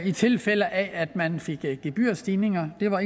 i tilfælde af at man fik gebyrstigninger det var